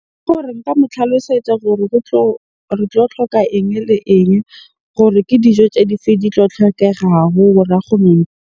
Nka mo tlhalosetsa gore go tlo, re tlo tlhoka eng le eng? Gore ke dijo tse dife di tlo tlhokegago .